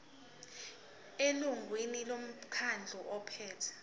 elungwini lomkhandlu ophethe